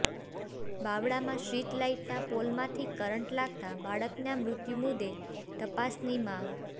બાવળામાં સ્ટ્રીટલાઈટના પોલમાંથી કરંટ લાગતાં બાળકના મૃત્યુ મુદ્દે તપાસની માગ